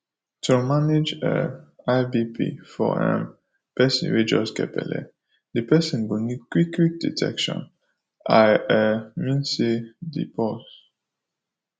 to manage um high bp for um persin wey just get belle the persin go need qik qik detection i um mean say the pause